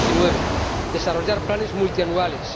2019 desarrollar planes multianuales